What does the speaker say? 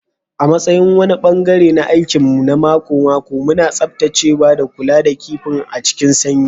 A matsayin wani ɓangare na aikin mu na mako-mako, muna tsaftacewa da kula da kifin a cikin sanyi.